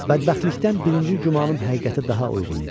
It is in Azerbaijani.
Bədbəxtlikdən birinci gümanım həqiqətə daha uyğun idi.